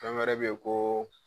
Fɛn wɛrɛ bɛ yen ko